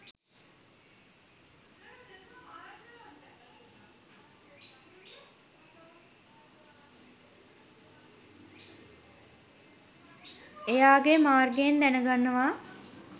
එයාගේ මාර්ගයෙන් දැනගන්නවා